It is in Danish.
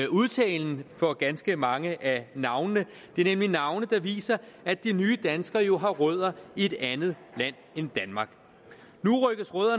udtalen af ganske mange af navnene det er nemlig navne der viser at de nye danskere jo har rødder i et andet land end danmark